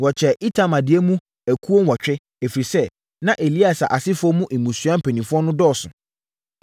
Wɔkyɛɛ Itamar deɛ mu akuo nwɔtwe, ɛfiri sɛ, na Eleasa asefoɔ mu mmusua mpanimfoɔ no dɔɔso.